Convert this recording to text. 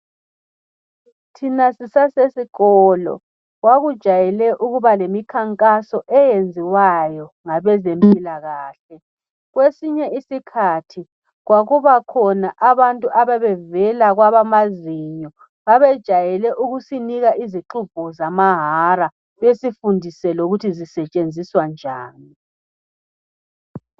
Thina sisasesikolo kwakujayele ukuba lemikhankaso eyenziwayo ngabezempilakahle. Kwesinye isikhathi kwakusiba khona abantu ababevele kwabamazinyo. Babejayele ukusinika izixubho zamahara besifundise lokuthi zisetshenziswa njani.